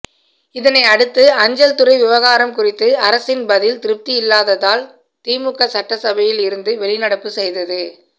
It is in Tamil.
இதனை அடுத்து அஞ்சல்துறை விவகாரம் குறித்து அரசின் பதில் திருப்தி இல்லாததால் திமுக சட்டசபையில் இருந்து வெளிநடப்பு செய்தது